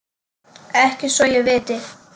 Ekki svo ég viti.